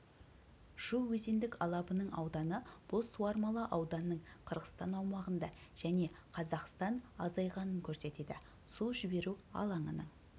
шу өзендік алабының ауданы бұл суармалы ауданның қырғызстан аумағында және қазақстан азайғанын көрсетеді су жіберу алаңының